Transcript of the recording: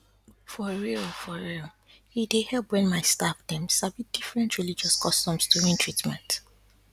for real for real e dey help when my staff dem sabi different religious customs during treatment